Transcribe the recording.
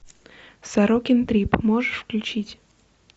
сорокин трип можешь включить